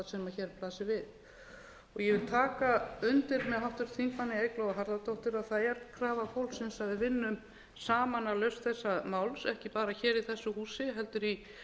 við ég vil taka undir með háttvirtum þingmanni eygló harðardóttur að það er krafa fólksins að við vinnum saman að lausn þessa máls ekki bara hér í þessu húsi heldur í bönkunum og hjá lífeyrissjóðum sýslumönnum